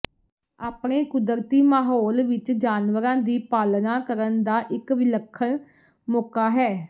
ਆਪਣੇ ਕੁਦਰਤੀ ਮਾਹੌਲ ਵਿਚ ਜਾਨਵਰਾਂ ਦੀ ਪਾਲਣਾ ਕਰਨ ਦਾ ਇੱਕ ਵਿਲੱਖਣ ਮੌਕਾ ਹੈ